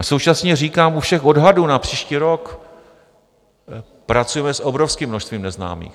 A současně říkám u všech odhadů na příští rok, pracujeme s obrovským množstvím neznámých.